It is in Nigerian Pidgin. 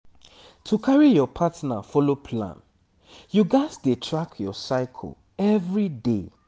to carry your partner follow plan you gats dey track your cycle every day